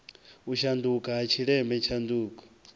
u shanduka ha tshileme tshanduko